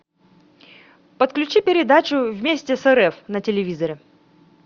подключи передачу вместе с рф на телевизоре